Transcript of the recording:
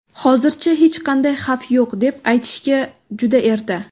Hozircha hech qanday xavf yo‘q, deb aytishga juda erta.